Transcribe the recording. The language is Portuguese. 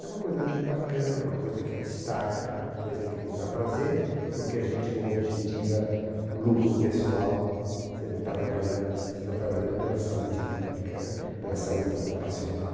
É uma coisa muito bacana, uma coisa que destaca, uma coisa que nos dá prazer, porque a gente não objetiva lucro pessoal, você não está trabalhando, você está trabalhando pela saúde pública né, pela saúde ocupacional.